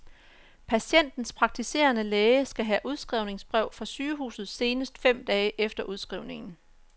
Patientens praktiserende læge skal have udskrivningsbrev fra sygehuset senest fem dage efter udskrivningen.